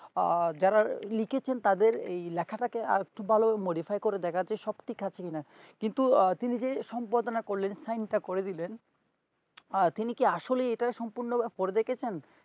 আহ যারা লিখেছেন তাদের এই লেখাটা কে আর একটু ভালো modify করে দেখতে শক্তি থাকি না কিন্তু তিনি যে সম্প্রদানা করলেন sine তা করে দিলেন তিনি কি আসলে ইটা সম্পূর্ণ পরে দেখেপছেন